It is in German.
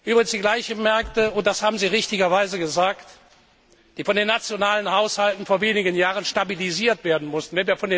Übrigens, die gleichen Märkte, und das haben Sie richtigerweise gesagt, die von den nationalen Haushalten vor wenigen Jahren stabilisiert werden mussten.